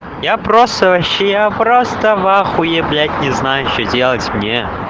я просто вообще я просто в ахуе блять не знаю что делать мне